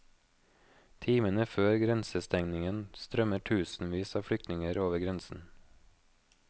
Timene før grensestengingen strømmer tusenvis av flyktinger over grensen.